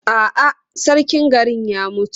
A'a, sarkin garin ya mutu.